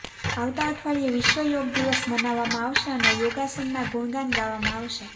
આવતા અઠવાડિયે વિશ્વ યોગ દિવસ મનાવવામાં આવશે અને યોગાસનના ગુણગાન ગાવામાં આવશે